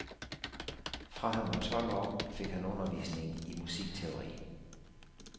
Fra han var tolv år, fik han undervisning i musikteori.